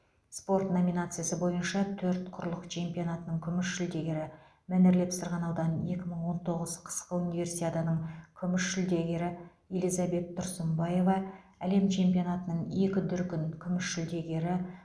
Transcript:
спорт номинациясы бойынша төрт құрлық чемпионатының күміс жүлдегері мәнерлеп сырғанаудан екі мың он тоғыз қысқы универсиаданың күміс жүлдегері элизабет тұрсынбаева әлем чемпионатының екі дүркін күміс жүлдегері